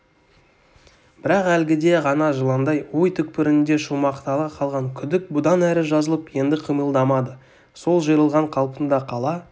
бірақ әлгіде ғана жыландай ой түкпірінде шумақтала қалған күдік бұдан әрі жазылып енді қимылдамады сол жиырылған қалпында қала